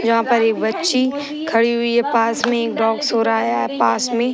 यहाँ पर एक बच्ची खड़ी हुई है। पास में एक डॉग सो रहा है। अ पास में --